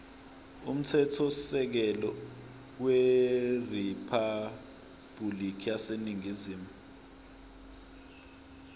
umthethosisekelo weriphabhulikhi yaseningizimu